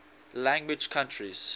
language countries